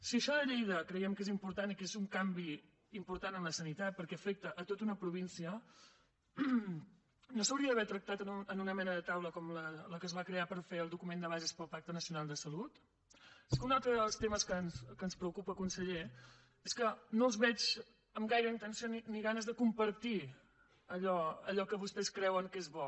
si això de lleida creiem que és important i que és un canvi important en la sanitat perquè afecta tota una província no s’hauria d’haver tractat en una mena de taula com la que es va crear per fer el document de bases per al pacte nacional de salut és que un altre dels temes que ens preocupa conseller és que no els veig amb gaire intenció ni ganes de compartir allò que vostès creuen que és bo